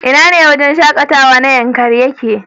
Ina ne wajen shakatawa na Yankari yake?